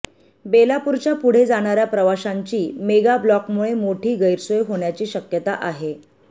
बेलापूरच्या पुढे जाणाऱ्या प्रवाशांची मेगाब्लॉकमुळे मोठी गैरसोय होण्याची शक्यता आहे